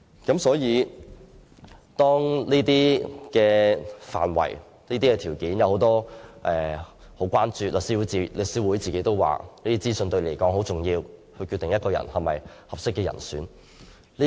這些範圍和條件均備受關注，律師會也承認這些資訊很重要，是決定某人是否適當人士的考慮因素。